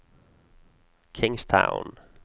Kingstown